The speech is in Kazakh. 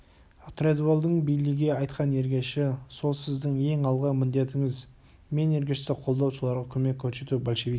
тредуэллдің бейлиге айтқан ергеші сол сіздің ең алғы міндетіңіз мен ергешті қолдау соларға көмек көрсету большевик